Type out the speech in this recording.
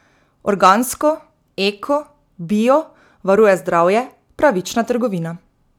Organsko, eko, bio, varuje zdravje, pravična trgovina.